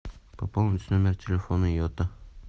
пополнить номер телефона йота